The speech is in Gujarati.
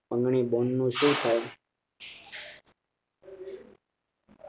અંગની બેન નું શું થયુ